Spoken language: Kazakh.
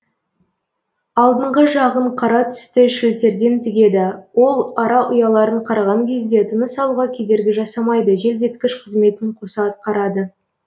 алдыңғы жағын қара түсті шілтерден тігеді ол ара ұяларын қараған кезде тыныс алуға кедергі жасамайды желдеткіш қызметін қоса атқарады